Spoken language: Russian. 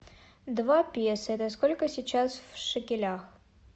два песо это сколько сейчас в шекелях